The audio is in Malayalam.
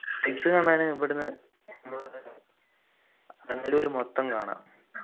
കാണാന് ഇവിടുന്ന് മൊത്തം കാണാ